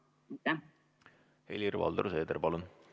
Helir-Valdor Seeder, palun!